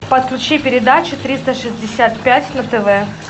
подключи передачу триста шестьдесят пять на тв